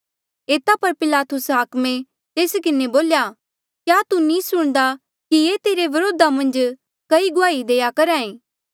एता पर पिलातुस हाकमे तेस किन्हें बोल्या क्या तू नी सुणदा कि ये तेरे व्रोधा मन्झ कई गुआहिया देआ करहा ऐें